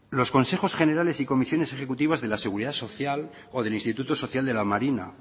los consejos generales y comisiones ejecutivas de la seguridad social o del instituto social de la marina